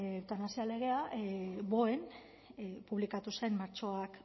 eutanasia legea boen publikatu zen martxoak